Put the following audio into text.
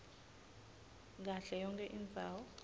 kahle yonkhe indzawo